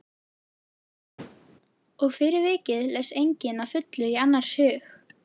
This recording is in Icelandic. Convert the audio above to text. Og fyrir vikið les enginn að fullu í annars hug.